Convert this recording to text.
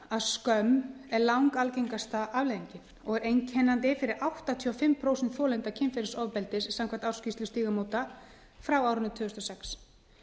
að skömm er langalgengasta afleiðingin og er einkennandi fyrir áttatíu og fimm prósent þolenda kynferðisofbeldis samkvæmt ársskýrslu stígamóta frá árinu tvö þúsund og sex